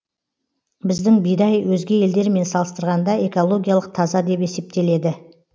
біздің бидай өзге елдермен салыстырғанда экологиялық таза деп есептеледі